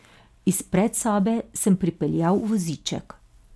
Iz predsobe sem pripeljal voziček.